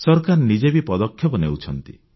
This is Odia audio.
ସରକାର ନିଜେ ବି ପଦକ୍ଷେପ ନେଉଛନ୍ତି